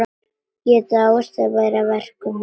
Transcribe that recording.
Ég dáðist að verkum hennar.